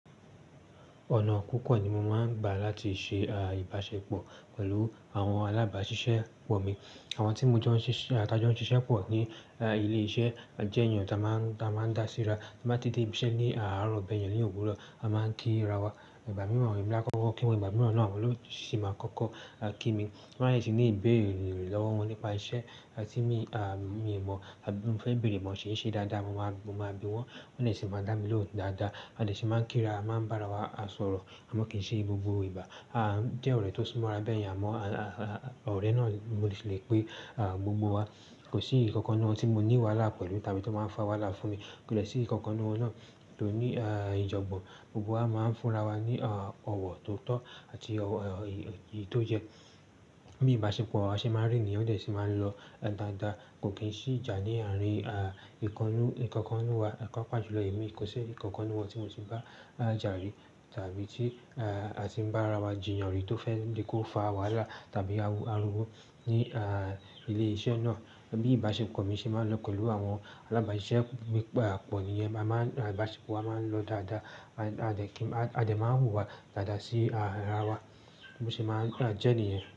Ọ̀nà púpọ̀ ni mo máa ń gbà láti ṣe ìbáṣepọ̀ pẹ̀lú àwọn alábáṣiṣẹ́ pọ̀ mi. Àwọn tí mo jọ ń ṣiṣẹ́, tan jọ ń ṣiṣẹ́ pọ̀ ní ilé iṣẹ́ jẹ́ ènìyàn tí a máa ń dá síra, tí a máa ń tètè múṣẹ́ ní àárọ̀ bẹ́ẹ̀ yẹn ní òwúrọ̀ a máa ń kí ra wa. Ìgbà mìràn e mi ni ákọ̀ọ́kọ́ kí wọ́n, ìgbà mìràn náà olootu máa ń kọ́kọ́ kí mi. Ti bá lè ní ìbéèrè lọ́wọ́ wọn nípa iṣẹ́ tí mi ò mọ̀, àbí tí mo fẹ́ bèrè mọ̀ ṣé ṣe dáadáa mo máa bi wọn, wọn a lè sì máa dá mi lóhùn dáadáa. A lè sì máa ń kí ra, máa ń bá ara wa sọ̀rọ̀, àmọ́ kì í ṣe gbogbo ìbá. Jé ọ̀rẹ́ tó súmọ́ ara bẹ́ẹ̀ yẹn a mọ̀? Ọ̀rẹ́ náà ni mo sì lè pé gbogbo wa. Kò sí èyí ǹkan ǹkan nínú wọn tí mo ní wàhálà pẹ̀lú tàbí tó máa ń fa wàhálà fún mi. Kò lè sí nǹkan kan lọ́nà tó ní ìjogbon. Gbogbo wa máa ń fúnra wa ní ọ̀wọ̀ tó tọ́ àti èyí tó yẹ. Bí ìbáṣepọ̀ wa ṣe máa ń rí nìyẹn o dẹ̀ sì máa ń lọ dáadáa. Kò kì í sí ìjà ní àárín nǹkan kan nínú wa. Papàjùlọ èmi, kò ṣe nǹkan kan wọ́n tí mo ti bá jà rí tàbí tí a ti bá ara wa jiyàn rí tó fẹ́ lè kó fa wàhálà tàbí ariwo ní ilé iṣẹ́ náà. Bí ìbáṣepọ̀ mi ṣe máa ń lọ pẹ̀lú àwọn alábáṣiṣẹ́ mi pọ̀ ni yẹn. Ìbáṣepọ̀ wa máa ń lọ dáadáa. A dẹ̀ máa ń hù ìwà dáadáa sí ara wa bí mo ṣe máa ń jẹ́ nìyen.